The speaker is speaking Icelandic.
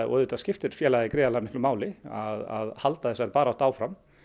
og auðvitað skiptir félagið gríðarlega miklu máli að halda þessari baráttu áfram